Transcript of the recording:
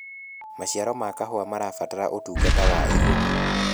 maciaro ma kahũa marabatara utungata wa igũrũ